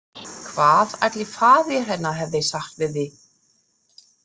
Hvað ætli faðir hennar hefði sagt við því?